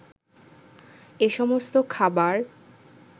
এসমস্ত খাবার